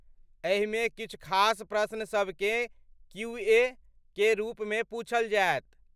एहिमे किछु खास प्रश्न सबकेँ क्यू.ए. के रूपमे पूछल जायत।